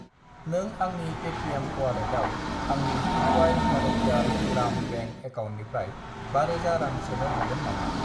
नों आंनि पेटिएम अवालेटाव आंनि पुदुवाइ भारतियार ग्राम बेंक एकाउन्टनिफ्राय 5000 रां सोनो हागोन नामा?